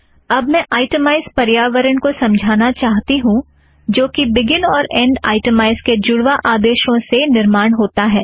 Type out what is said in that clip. अब मैं आइटमैज़ पर्यावरण को समझाना चाहती हूँ जो कि बिगिन और ऐंड आइटमैज़ के जुड़वा आदेशों से निर्माण होता है